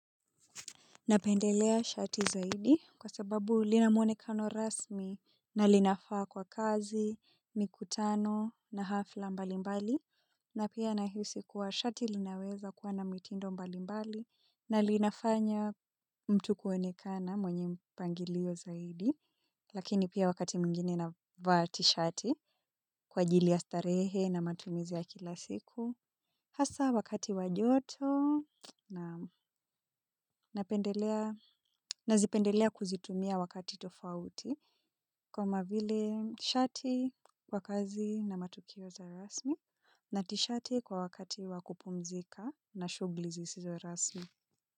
Napendelea shati zaidi kwa sababu lina muonekano rasmi na linafaa kwa kazi, mikutano na hafla mbalimbali na pia nahisi kuwa shati linaweza kuwa na mitindo mbalimbali na linafanya mtu kuonekana mwenye mpangilio zaidi lakini pia wakati mwingine navaa tishati kwa ajili ya starehe na matumizi ya kila siku. Hasa wakati wa joto nazipendelea kuzitumia wakati tofauti kama vile shati kwa kazi na matukio za rasmi na tishati kwa wakati wa kupumzika na shughuli zisizo rasmi.